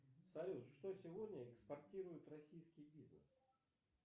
салют что сегодня экспортирует российский бизнес